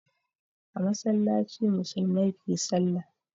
A masallaci musulmai ke sallah.